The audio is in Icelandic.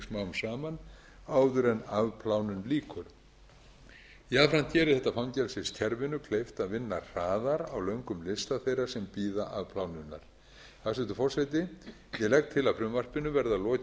saman áður en afplánun lýkur jafnframt gerir þetta fangelsiskerfinu kleift að vinna hraðar á löngum lista þeirra sem bíða afplánunar hæstvirtur forseti ég legg til að frumvarpinu verði að lokinni